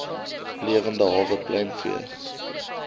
lewende hawe pluimvee